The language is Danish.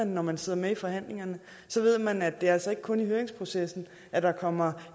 når man sidder med i forhandlingerne ved man at det altså ikke kun er i høringsprocessen at der kommer